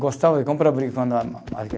Gostava de comprar briga quando a